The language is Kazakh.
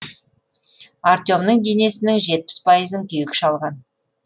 артемнің денесінің жетпіс пайызын күйік шалған